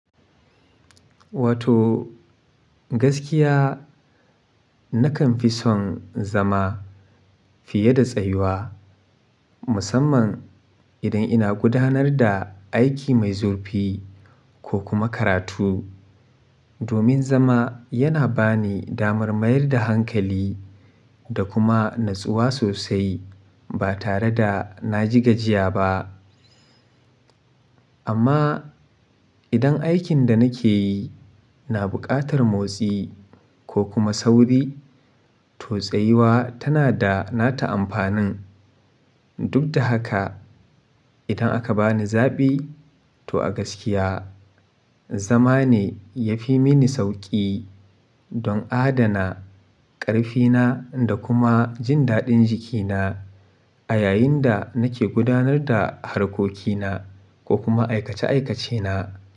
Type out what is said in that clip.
Wato gaskiya nakan fi son zama fiye da tsayuwa, musamman idan ina gudanar da aiki mai zurfi ko kuma karatu. Domin zama yana ba ni damar mayar da hankali da kuma natsuwa sosai ba tare da na ji gajiya ba. Amma idan aikin da nake yi na buƙatar motsi ko kuma sauri, to tsayuwa tana da nata amfanin. Duk da haka, idan aka bani zaɓi, to a gaskiya zama ne ya fi mini sauƙi don adana ƙarfina da kuma jin daɗin jikina a yayin da nake gudanar da harkokina ko kuma aikace-aikacena.